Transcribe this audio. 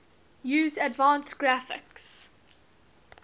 use advanced graphics